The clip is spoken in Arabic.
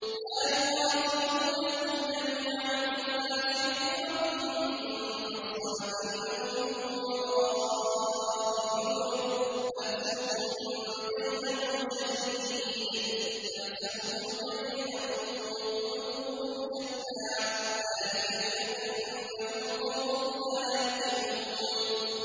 لَا يُقَاتِلُونَكُمْ جَمِيعًا إِلَّا فِي قُرًى مُّحَصَّنَةٍ أَوْ مِن وَرَاءِ جُدُرٍ ۚ بَأْسُهُم بَيْنَهُمْ شَدِيدٌ ۚ تَحْسَبُهُمْ جَمِيعًا وَقُلُوبُهُمْ شَتَّىٰ ۚ ذَٰلِكَ بِأَنَّهُمْ قَوْمٌ لَّا يَعْقِلُونَ